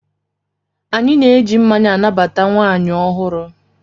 Anyị na-eji mmanya anabata nwaanyị ọhụrụ.